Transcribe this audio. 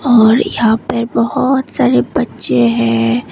और यहां पर बहुत सारे बच्चे हैं।